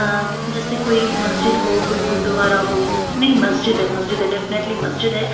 .جیسے کوئی مسجد ہو گرو دوارہ ہو نہیں مسجد ہیں مسجد ہیں دفنیتلے مسجد ہیں اں